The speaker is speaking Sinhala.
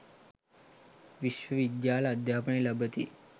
විශ්ව විද්‍යාල අධ්‍යාපනය ලබති